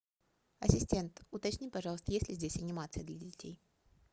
ассистент уточни пожалуйста есть ли здесь анимация для детей